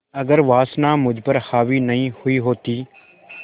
अगर वासना मुझ पर हावी नहीं हुई होती